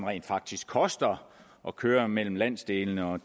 rent faktisk koster at køre mellem landsdelene og